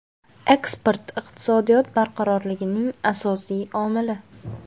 Eksport – iqtisodiyot barqarorligining asosiy omili.